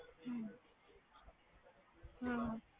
ਹਮ ਹਮ